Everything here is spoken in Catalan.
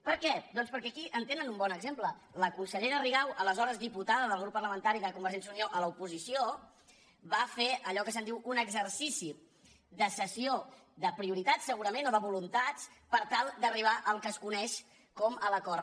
per què doncs perquè aquí en tenen un bon exemple la consellera rigau aleshores diputada del grup parlamentari de convergència i unió a l’oposició va fer allò que se’n diu un exercici de cessió de prioritats segurament o de voluntats per tal d’arribar al que es coneix com a l’acord